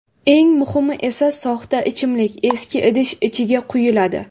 Eng muhimi esa, soxta ichimlik eski idish ichiga quyiladi.